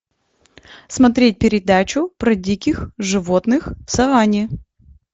смотреть передачу про диких животных в саванне